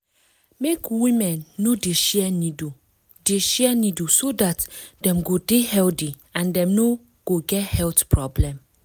make women no dey share needle dey share needle so dat dem go dey healthy and dem no go get health problem